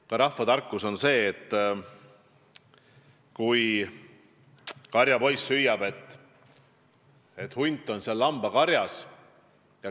Vana rahvajutt räägib karjapoisist, kes naljaviluks hüüdis, et hunt on lambakarjas.